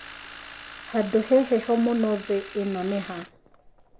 handũ he heho mũno thĩ ĩno nĩ ha